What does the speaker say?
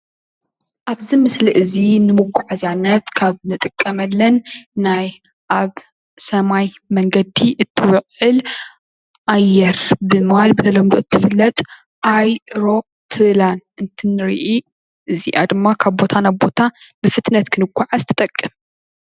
ኣብዚ ምስሊ እዚ ንምጉዓዝያነት ካብ እንጥቀመለን ናይ ኣብ ሰማይ መንገዲ እትውዕል ኣየር ብምባል ብተለምዶ እትፍለጥ ኣይሮፕላን እንትንርኢ እዚኣ ድማ ካብ ቦታ ናብ ቦታ ብፍጥነት ክንጎዓዝ ትጠቅም።